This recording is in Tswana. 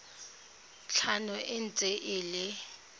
tlhano e ntse e le